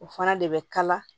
O fana de bɛ kala